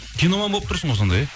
киноман болып тұрсың ғой сонда иә